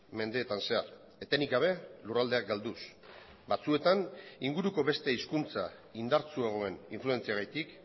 mendeetan zehar etenik gabe lurraldeak galduz batzuetan inguruko beste hizkuntza indartsuagoen influentziagatik